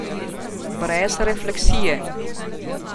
Brez refleksije.